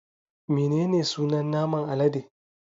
Menene sunan naman alade?